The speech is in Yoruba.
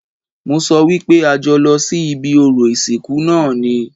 Mo sọ wípé a jọ lọ sí ibi orò ìsìnkú náà ni